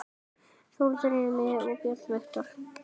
Þórður Emi og Björn Viktor